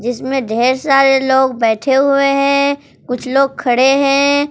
इसमें ढेर सारे लोग बैठे हुए हैं कुछ लोग खड़े हैं।